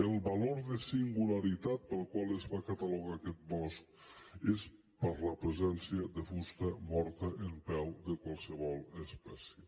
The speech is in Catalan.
el valor de singularitat pel qual es va catalogar aquest bosc és per la presència de fusta morta en peu de qualsevol espècie